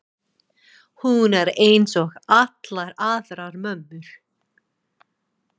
Hún er einsog allar aðrar mömmur.